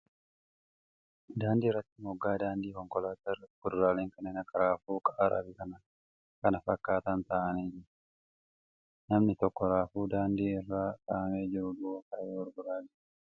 Daandii irratti moggaa daandii konkolaataa irratti kuduraaleen kanneen akka raafuu , qaaraa fi kan kana fakkaatan taa'aanii jiru . Namni tokko raafuu daandii irra kaa'amee jiru duuba taa'ee gurguraa jira.